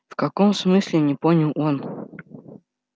в каком смысле не понял он